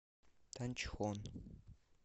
танчхон